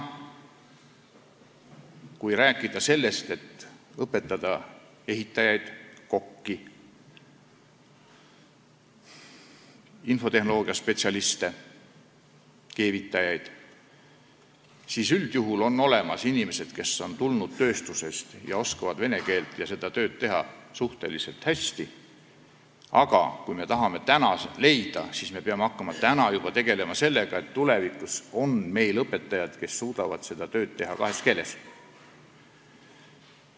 Kui õpetada ehitajaid, kokki, infotehnoloogiaspetsialiste, keevitajaid, siis üldjuhul on selleks olemas inimesed, kes on tulnud tööstusest, nad oskavad vene keelt ja teevad seda tööd suhteliselt hästi, aga me peame hakkama juba täna tegelema sellega, et tulevikus oleks meil õpetajaid, kes suudaksid seda tööd teha kahes keeles.